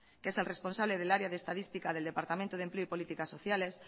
que es el responsable del área de estadística del departamento de empleo y políticas sociales